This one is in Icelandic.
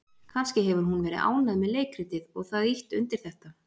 Kannski hefur hún verið ánægð með leikritið og það ýtt undir þetta?